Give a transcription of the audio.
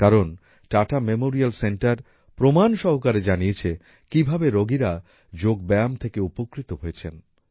কারণ Tata memorial centre প্রমান সহকারে জানিয়েছে কীভাবে রোগীরা যোগব্যায়াম থেকে উপকৃত হয়েছেন